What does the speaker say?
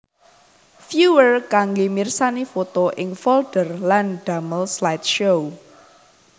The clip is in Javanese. Viewer kanggé mirsani foto ing folder lan damel slideshow